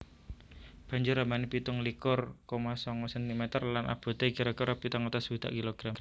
Banjur ambané pitung likur koma sanga sentimeter lan aboté kira kira pitung atus swidak kilogram